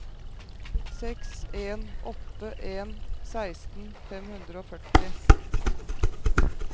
seks en åtte en seksten fem hundre og førti